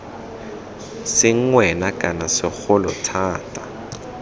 seng wena kana segolo thata